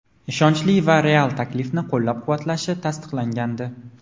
ishonchli va real taklifini qo‘llab-quvvatlashi tasdiqlangandi.